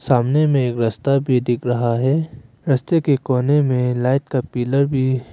सामने में एक रस्ते दिख रहा है रस्ते के कोने में लाइट का पिलर भी--